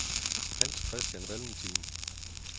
Hans-Christian Valentin